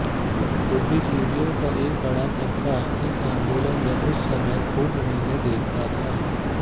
बुद्धिजीवियों का एक बड़ा तबका इस आंदोलन में उस समय खूब उम्मीदें देखता था